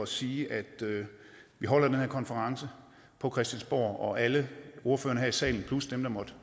sige at vi holder den her konference på christiansborg og alle ordførerne her i salen plus dem der måtte